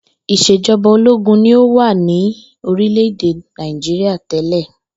Ìs̩èjo̩ba ológun ni ó wà ní orílè̩-èdè Nàìjíríà té̩lè̩